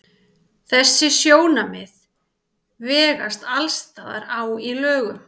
Þessi sjónarmið vegast alls staðar á í lögum.